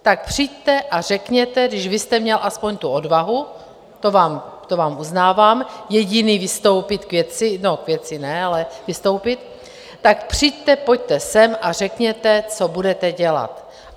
Tak přijďte a řekněte, když vy jste měl aspoň tu odvahu, to vám uznávám, jediný vystoupit k věci - no, k věci ne, ale vystoupit - tak přijďte, pojďte sem a řekněte, co budete dělat.